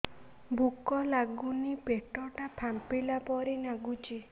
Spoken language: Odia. ଭୁକ ଲାଗୁନି ପେଟ ଟା ଫାମ୍ପିଲା ପରି ନାଗୁଚି